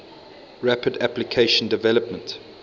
rapid application development